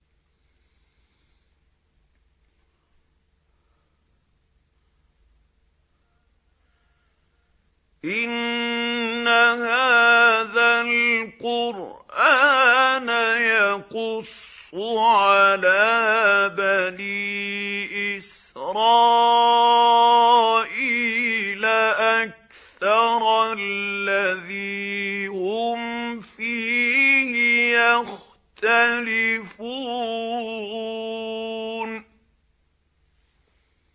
إِنَّ هَٰذَا الْقُرْآنَ يَقُصُّ عَلَىٰ بَنِي إِسْرَائِيلَ أَكْثَرَ الَّذِي هُمْ فِيهِ يَخْتَلِفُونَ